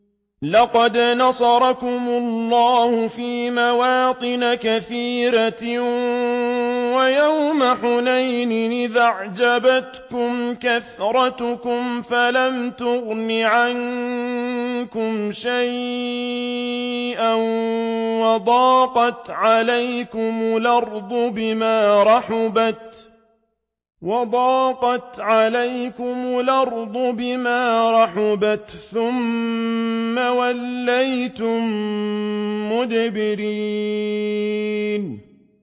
لَقَدْ نَصَرَكُمُ اللَّهُ فِي مَوَاطِنَ كَثِيرَةٍ ۙ وَيَوْمَ حُنَيْنٍ ۙ إِذْ أَعْجَبَتْكُمْ كَثْرَتُكُمْ فَلَمْ تُغْنِ عَنكُمْ شَيْئًا وَضَاقَتْ عَلَيْكُمُ الْأَرْضُ بِمَا رَحُبَتْ ثُمَّ وَلَّيْتُم مُّدْبِرِينَ